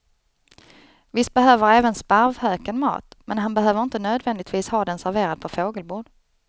Visst behöver även sparvhöken mat, men han behöver inte nödvändigtvis ha den serverad på fågelbord.